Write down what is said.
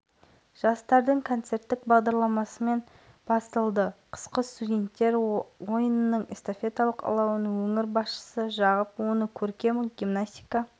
қала орталығындағы әл-фараби алаңына жиналған мыңдаған жұрт эстафеталық алаудың жағылу сәтіне куә болды қазақтың кең байтақ